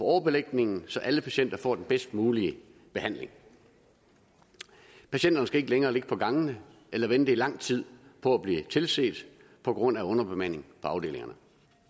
overbelægningen så alle patienter får den bedst mulige behandling patienterne skal ikke længere ligge på gangene eller vente i lang tid på at blive tilset på grund af underbemanding på afdelingerne